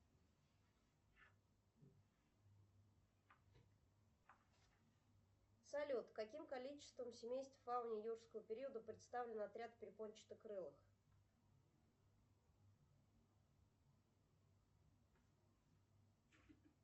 салют каким количеством семейств фауны юрского периода представлены отряд перепончатокрылых